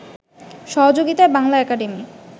সহযোগিতায় বাংলা একাডেমি